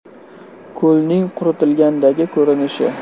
Ko‘lning quritilgandagi ko‘rinishi.